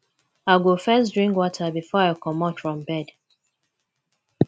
i go first drink water before i comot from bed